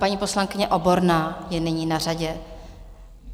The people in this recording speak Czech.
Paní poslankyně Oborná je nyní na řadě.